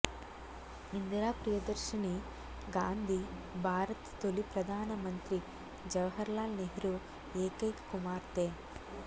ఇందిరా ప్రియదర్శినీ గాంధీ భారత తొలి ప్రధానమంత్రి జవహర్ లాల్ నెహ్రూ ఏకైక కుమార్తె